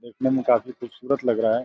देखने में काफी खूबसूरत लग रहा है।